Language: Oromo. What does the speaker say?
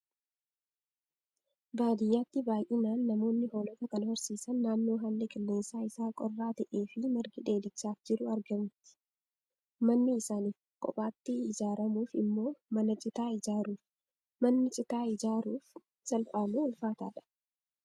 Baadiyyaatti baay'inaan namoonni hoolota kan horsiisan naannoo haalli qilleensa isaa qorraa ta'ee fi margi dheedichaaf jiru argamutti. Manni isaaniif kophaatti ijaaramuuf immoo mana citaa ijaaruuf. Manni citaa ijaaruuf salphaa moo ulfaataadhaa?